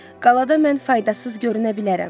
Qalada mən faydasız görünə bilərəm.